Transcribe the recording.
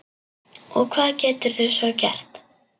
Og hvað geturðu svo gert?